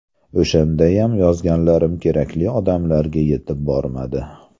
O‘shandayam yozganlarim kerakli odamlarga yetib bormadi.